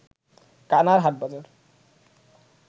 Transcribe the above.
কানার হাটবাজার